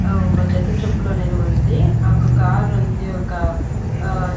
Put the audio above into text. ఆ ఒక జత చెప్పులనేది ఉంది ఆ ఒక కారుంది ఒక ఆ--